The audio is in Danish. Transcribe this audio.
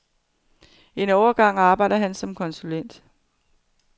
En overgang arbejdede han som konsulent.